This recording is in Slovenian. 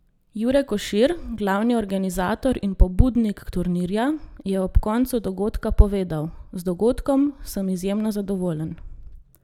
Jure Košir, glavni organizator in pobudnik turnirja, je ob koncu dogodka povedal: "Z dogodkom sem izjemno zadovoljen.